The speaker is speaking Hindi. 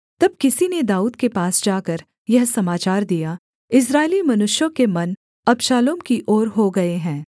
तब किसी ने दाऊद के पास जाकर यह समाचार दिया इस्राएली मनुष्यों के मन अबशालोम की ओर हो गए हैं